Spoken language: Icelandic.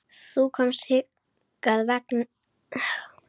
Þú komst hingað þess vegna.